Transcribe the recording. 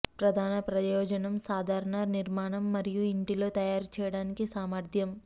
ప్రధాన ప్రయోజనం సాధారణ నిర్మాణం మరియు ఇంటిలో తయారు చేయడానికి సామర్ధ్యం